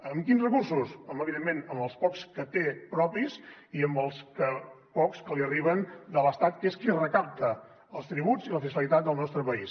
amb quins recursos home evidentment amb els pocs que té propis i amb els pocs que li arriben de l’estat que és qui recapta els tributs i la fiscalitat del nostre país